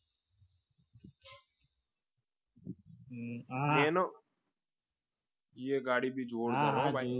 હા એ ગાડી પણ જોરદાર હો ભાઈ